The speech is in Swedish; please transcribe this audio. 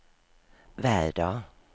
väder